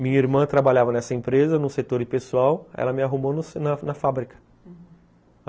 Minha irmã trabalhava nessa empresa, num setor pessoal, ela me arrumou na na fábrica, uhum.